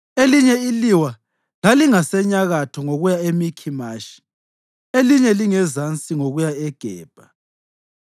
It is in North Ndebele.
Elinye iliwa lalingasenyakatho ngokuya eMikhimashi, elinye lingasezansi ngokuya eGebha.